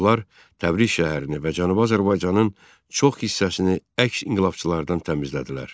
Onlar Təbriz şəhərini və Cənubi Azərbaycanın çox hissəsini əks inqilabçılardan təmizlədilər.